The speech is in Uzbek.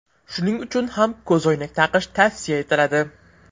Shuning uchun ham ko‘zoynak taqish tavsiya etiladi.